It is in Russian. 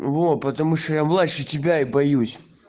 вот потому что я младше тебя и боюсь